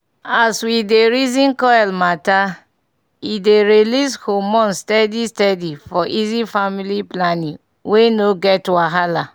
as we dey reason coil matter e dey release hormones steady steady - for easy family planning wey no get wahala